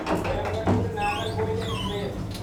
Coimbatore Nagercoil express